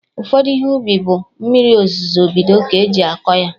Ụfọdụ Ihe ubi bụ mmiri ozuzo bido ka eji akọ ya